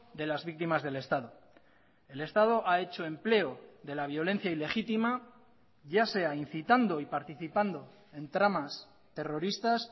de las víctimas del estado el estado ha hecho empleo de la violencia ilegítima ya sea incitando y participando en tramas terroristas